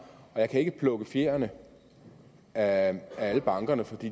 jeg kan ikke plukke fjerene af bankerne for de